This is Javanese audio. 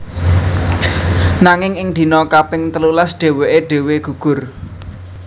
Nanging ing dina kaping telulas dhèwèké dhéwé gugur